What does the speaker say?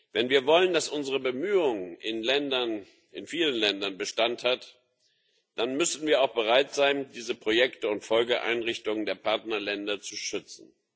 Wenn wir wollen, dass unsere Bemühungen in vielen Ländern Bestand haben, dann müssen wir auch bereit sein, diese Projekte und Folgeeinrichtungen der Partnerländer zu schützen.